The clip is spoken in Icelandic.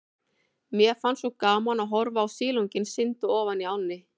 Mér fannst svo gaman að horfa á silunginn synda ofan í ánni.